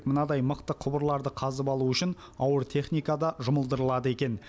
мынадай мықты құбырларды қазып алу үшін ауыр техника да жұмылдырылады екен